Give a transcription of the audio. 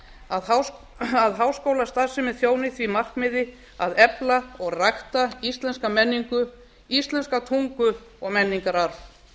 að háskólastarfsemin þjóni því markmiði að efla og rækta íslenska menningu íslenska tungu og menningararf